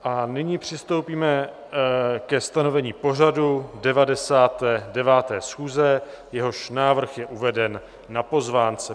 A nyní přistoupíme ke stanovení pořadu 99. schůze, jehož návrh je uveden na pozvánce.